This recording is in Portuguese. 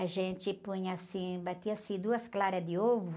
A gente punha assim, batia-se duas claras de ovo.